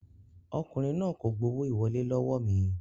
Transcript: Ọkùnrin náà kò gbowó ìwọlé lọ́wọ́ mi